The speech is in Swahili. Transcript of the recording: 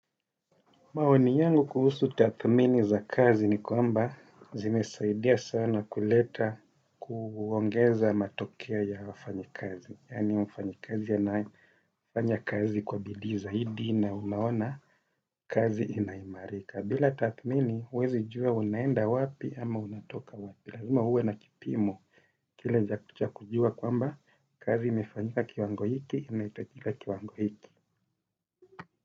Maoni yangu kuhusu tathmini za kazi ni kwamba zimesaidia sana kuleta kuongeza matokea ya wafanyikazi. Yaani wafanyikazi anayefanya kazi kwa bidii zaidi na unaona kazi inaimarika. Bila tathmini huwezi jua unaenda wapi ama unatoka wapi. Lazima uwe na kipimo kile cha kujua kwamba kazi imefanyika kiwango hiki inahitajika kiwango hiki.